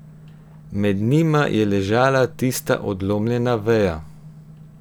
Med njima je ležala tista odlomljena veja.